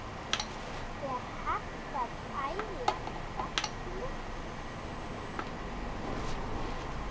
Er hægt að æla galli?